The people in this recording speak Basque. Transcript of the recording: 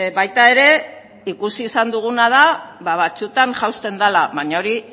baita ere ikusi izan duguna da batzuetan jausten dela baina ahori